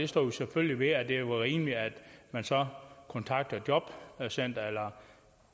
står vi selvfølgelig ved altså at det er rimeligt at man så kontakter jobcenteret eller